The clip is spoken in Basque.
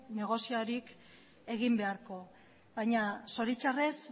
negoziorik egin beharko baina zoritxarrez